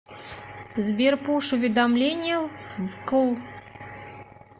сбер пуш уведомления вкл